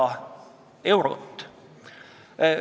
Mulle tundub, et selles osas oli ka konsensus.